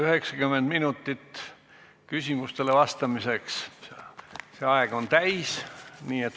90 minutit küsimustele vastamiseks on täis.